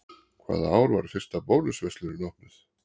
Hvaða ár var fyrsta Bónus verslunin opnuð?